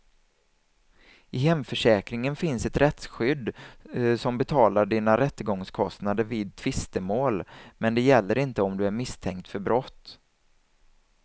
I hemförsäkringen finns ett rättsskydd som betalar dina rättegångskostnader vid tvistemål, men det gäller inte om du är misstänkt för brott.